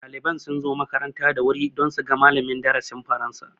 Ɗaliban sun zo makaranta da wuri dan su ga malamin darasin faransa